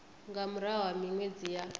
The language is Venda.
nga murahu ha minwedzi ya